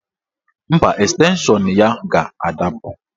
Mba, estenshọn ya ga-adapụ